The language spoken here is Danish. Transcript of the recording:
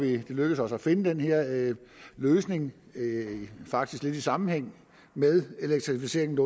det er lykkedes os at finde den her løsning faktisk lidt i sammenhæng med elektrificeringen af